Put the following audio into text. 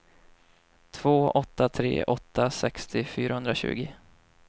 två åtta tre åtta sextio fyrahundratjugo